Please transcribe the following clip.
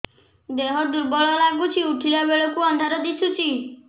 ଦେହ ଦୁର୍ବଳ ଲାଗୁଛି ଉଠିଲା ବେଳକୁ ଅନ୍ଧାର ଦିଶୁଚି